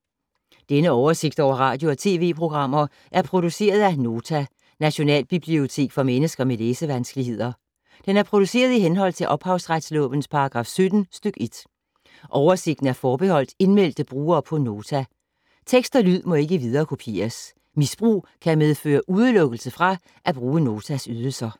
Denne oversigt over radio og TV-programmer er produceret af Nota, Nationalbibliotek for mennesker med læsevanskeligheder. Den er produceret i henhold til ophavsretslovens paragraf 17 stk. 1. Oversigten er forbeholdt indmeldte brugere på Nota. Tekst og lyd må ikke viderekopieres. Misbrug kan medføre udelukkelse fra at bruge Notas ydelser.